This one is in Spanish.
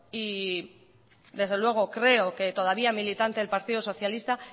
y desde luego creo que todavía militante del partido socialista